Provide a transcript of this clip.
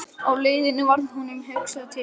Á leiðinni varð honum hugsað til Jóns